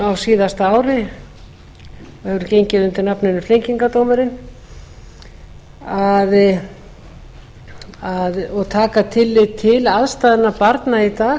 á síðasta ári og hefur gengið undir nafninu flengingardómurinn og taka tillit til aðstæðna barna í dag